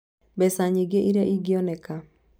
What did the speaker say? Mbeca nyingĩ iria ingĩoneka: